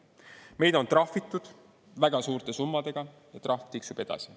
Meid on trahvitud väga suurte summadega ja trahv tiksub edasi.